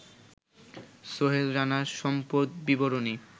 সোহেল রানার সম্পদ বিবরণী